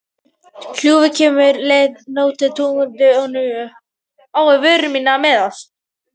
Hugljúf, hvenær kemur leið númer tuttugu og níu?